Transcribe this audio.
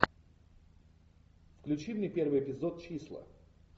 включи мне первый эпизод числа